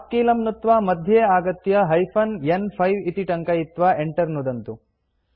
उप् कीलं नुत्त्वा मध्ये आगत्य हाइफेन न्5 इति टङ्कयित्वा enter नुदन्तु